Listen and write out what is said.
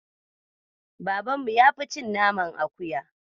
Babanmu ya fi cin naman akuya.